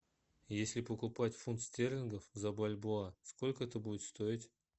если покупать фунт стерлингов за бальбоа сколько это будет стоить